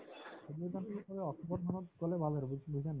october ৰ মানত গলে ভাল আৰু বুজি বুজিছানে নাই